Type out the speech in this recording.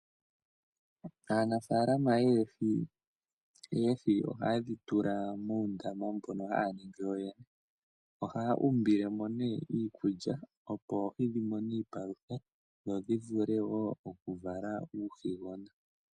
Aanafaalama yoohi oohi ohaye dhi tula muundama mbono haya ningi yoyene. Ohaya umbile mo nee iikulya opo oohi dhi mone iipalutha dho dhi vule wo oku vala uuhigona.